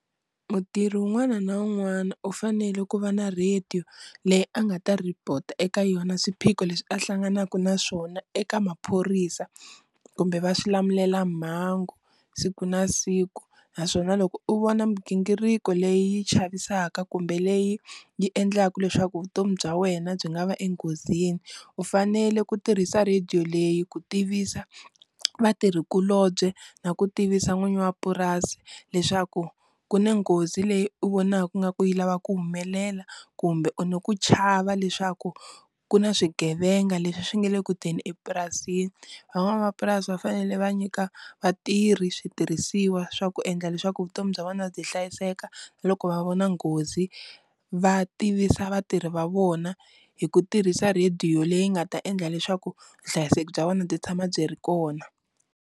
Mutirhi un'wana na un'wana u fanele ku va na radio leyi a nga ta report eka yona swiphiqo leswi a hlanganaka na swona eka maphorisa kumbe va swilamulelamhangu siku na siku, naswona loko u vona migingiriko leyi chavisaka kumbe leyi yi endlaka leswaku vutomi bya wena byi nga va enghozini u fanele ku tirhisa radio leyi ku tivisa vatirhikulobye na ku tivisa n'winyi wa purasi leswaku ku na nghozi leyi u vonaka ku nga ku yi lava ku humelela kumbe u ni ku chava leswaku ku na swigevenga leswi swi nga le ku teni epurasini, van'wamapurasi va fanele va nyika vatirhi switirhisiwa swa ku endla leswaku vutomi bya vona byi hlayiseka na loko va vona nghozi va tivisa vatirhi va vona hi ku tirhisa radio leyi nga ta endla leswaku vuhlayiseki bya vona byi tshama byi ri kona.